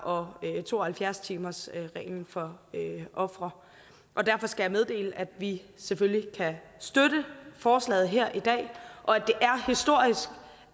og to og halvfjerds timersreglen for ofre og derfor skal jeg meddele at vi selvfølgelig kan støtte forslaget her i dag og